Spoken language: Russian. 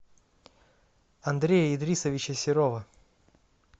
андрея идрисовича серова